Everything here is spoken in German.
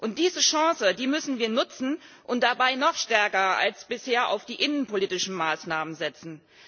Und diese Chance müssen wir nutzen und dabei noch stärker als bisher auf die innenpolitischen Maßnahmen setzen.